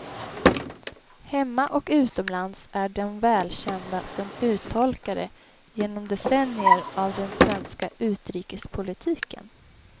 Hemma och utomlands är de välkända som uttolkare genom decennier av den svenska utrikespolitiken.